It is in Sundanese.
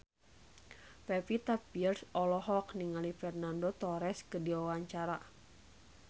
Pevita Pearce olohok ningali Fernando Torres keur diwawancara